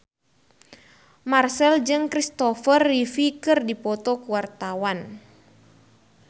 Marchell jeung Christopher Reeve keur dipoto ku wartawan